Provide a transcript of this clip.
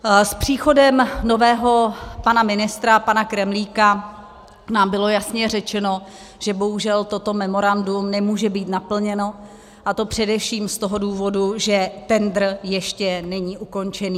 S příchodem nového pana ministra, pana Kremlíka, nám bylo jasně řečeno, že bohužel toto memorandum nemůže být naplněno, a to především z toho důvodu, že tendr ještě není ukončen.